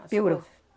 Piorou.